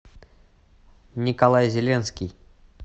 николай зеленский